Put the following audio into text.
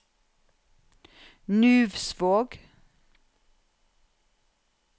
Nuvsvåg